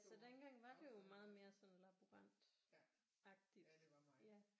Så dengang var det jo meget mere sådan laborant agtigt